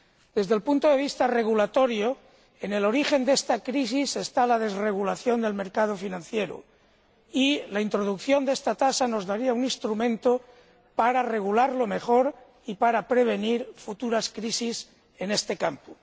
Desde el punto de vista regulatorio, en el origen de esta crisis está la desregulación del mercado financiero, y la introducción de esta tasa nos daría un instrumento para regularlo mejor y para prevenir futuras crisis en este campo.